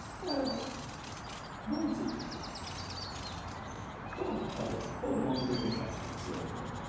হ্যাঁ বলছি তো খুব ভালো খুব মন লেগে কাজ করছিলাম আমরা